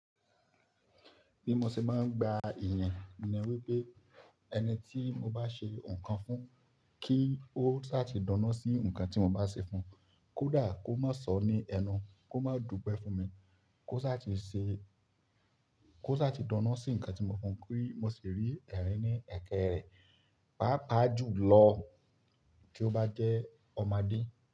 Bí mo ṣe máa ń gba ìyìn ni wípé ẹni tí mo bá ṣe ǹkan fún kí ó sá ti dunnú sí ǹkan tí mo bá ṣe fún, kódà kó mó sọ ní ẹnu, kó má dúpẹ́ fún mi, kó sá ti ṣe kó sá ti dunnú sí ǹkan tí mo fún kí mo sì rí ẹ̀rín ní ẹ̀kẹ́ rẹ̀. Paapaá jùlọ kí ó bá jẹ́ ọmọdé.